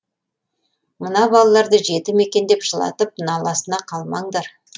мына балаларды жетім екен деп жылатып наласына қалмаңдар